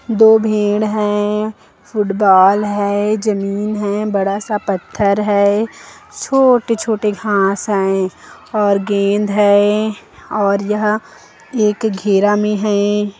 दो भेड़ है फुटबॉल है जमीन है बड़ा सा पत्थर है छोटे छोटे घास है और गेंद है और यहाँ एक घेरा मे हैं।